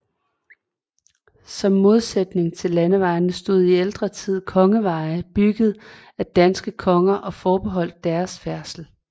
Som modsætning til landevejene stod i ældre tid kongeveje byggede af danske konger og forbeholdte deres færdsel